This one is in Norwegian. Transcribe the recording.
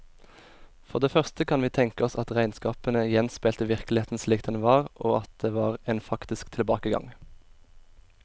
For det første kan vi tenke oss at regnskapene gjenspeilte virkeligheten slik den var, og at det var en faktisk tilbakegang.